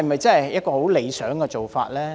這是否理想的做法呢？